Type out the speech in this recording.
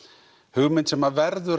hugmynd sem verður